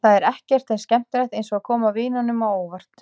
Það er ekkert eins skemmtilegt eins og að koma vinunum á óvart.